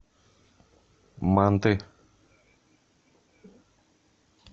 манты